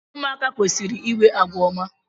ụmụaka kwesịrị inwe àgwà ọma